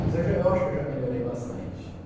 Mas eu já eu acho que eu já melhorei bastante, né?